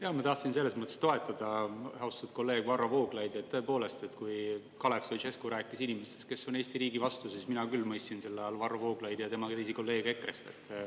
Jaa, ma tahtsin selles mõttes toetada austatud kolleeg Varro Vooglaidu, et tõepoolest, kui Kalev Stoicescu rääkis inimestest, kes on Eesti riigi vastu, siis mina küll mõistsin selle all Varro Vooglaidu ja tema kolleege EKRE-st.